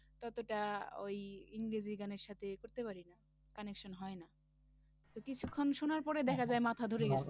ততটা ওই ইংরেজি গানের সাথে করতে পারিনা connection হয় না তো কিছুক্ষণ শোনার পরে দ্যাখা যায় মাথা ধরে গেছে